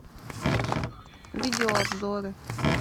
видеообзоры